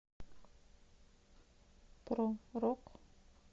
про рок